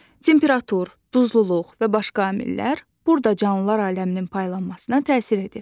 Temperatur, duzluluq və başqa amillər burada canlılar aləminin paylanmasına təsir edir.